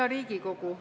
Hea Riigikogu!